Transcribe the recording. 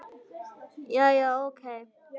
Jæja, ókei.